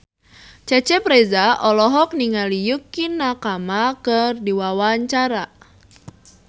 Cecep Reza olohok ningali Yukie Nakama keur diwawancara